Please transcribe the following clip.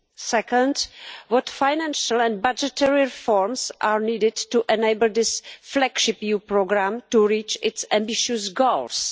Secondly, what financial and budgetary reforms are needed to enable this flagship EU programme to reach its ambitious goals?